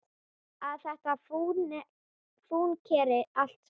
Að þetta fúnkeri allt saman.